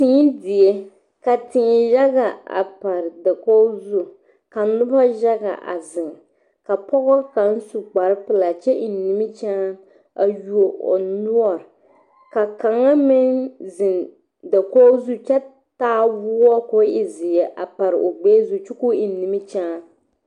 Téé die ka téé yaga a pare dakogi zu ka noba yaga a zeŋ ka pɔga kaŋa su kparre pelaa kyɛ eŋ niminyaan a yuo o noɔre ka kaŋa meŋ zeŋ dakogi zu kyɛ taa woɔ ko e zeɛ a pare o gbɛɛ zu kyɛ ka o eŋ niminyaan